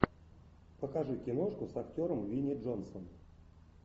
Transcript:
покажи киношку с актером винни джонсом